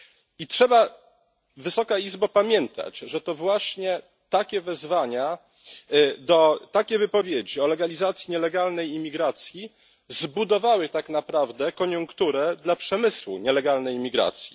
I trzeba, Wysoka Izbo, pamiętać, że to właśnie takie wezwania, takie wypowiedzi o legalizacji nielegalnej imigracji zbudowały tak naprawdę koniunkturę dla przemysłu nielegalnej imigracji.